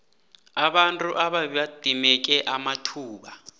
abantu ababedimeke amathuba